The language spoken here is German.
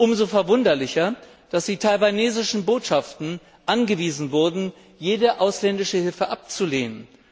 Umso verwunderlicher ist es, dass die taiwanesischen Botschaften angewiesen wurden, jede ausländische Hilfe abzulehnen.